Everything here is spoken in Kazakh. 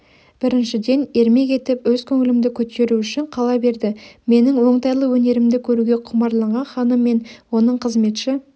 біріншіден ермек етіп өз көңілімді көтеру үшін қала берді менің оңтайлы өнерімді көруге құмарланған ханым мен оның қызметші